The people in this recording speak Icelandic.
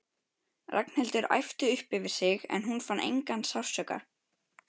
Ragnhildur æpti upp yfir sig en hún fann engan sársauka.